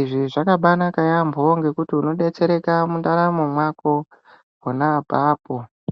Izvi zvakabaanaka yaambo ngekuti unodetsereka mundaramo mwako pona apapo.